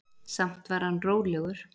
Samt var hann rólegur.